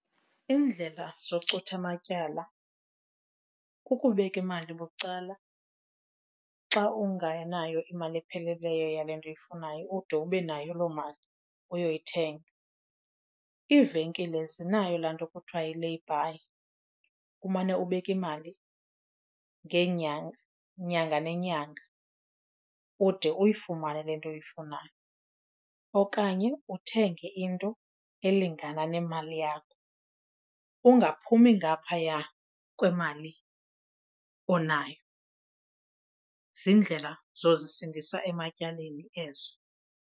Iindlela zocutha amatyala kukubeka imali bucala xa unganayo imali epheleleyo yale nto uyifunayo ude ube nayo loo mali uyoyithenga. Iivenkile zinayo laa nto kuthiwa yi-layby umane ubeka imali ngeenyanga, nyanga nenyanga ude uyifumane le nto uyifunayo. Okanye uthenge into elingana nemali yakho ungaphumi ngaphaya kwemali onayo. Ziindlela zozisindisa ematyaleni ezo.